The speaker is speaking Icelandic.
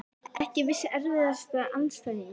Ekki viss Erfiðasti andstæðingur?